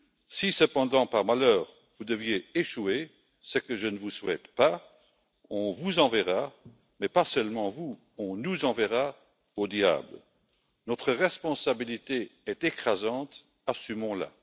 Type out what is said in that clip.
Si cependant, par malheur, vous deviez échouer, ce que je ne vous souhaite pas, on vous enverra, mais pas seulement vous, on nous enverra au diable. Notre responsabilité est écrasante, assumons la.